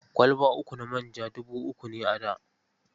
Kwalba uku na manja dubu uku ne a da.